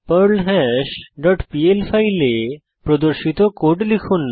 perl hash dot PL ফাইলে প্রদর্শিত code লিখুন